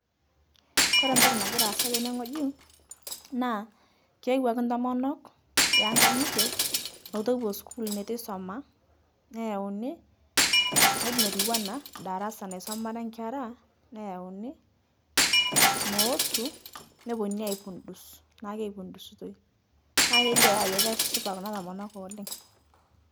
Kore ntoki nagira asa tene ng'oji, naa keewaki ntomonok eenkang'ite netu epo skul netu eisoma neyeuni ng'oji notuwana darasa nesomare nkera neyeuni mootu, nepepununi aipudus naaku keipudusutoi, naa keilio taa ajo keshipa kuna tomonok oleng'.